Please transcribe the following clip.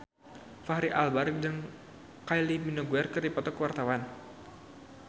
Fachri Albar jeung Kylie Minogue keur dipoto ku wartawan